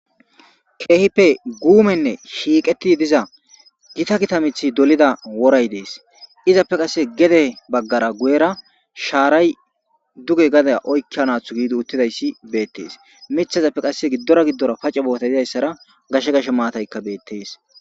Keehippe guumenne shiiqeti diza gita gita mithi dolida woray dees izappe qasse gede baggara guyera shaaray duge gada oykkia naathu giidi uttidayssi beettees mithazappe qasse giddora giddora pace boota didayssara gashe gashe maataykka beettees.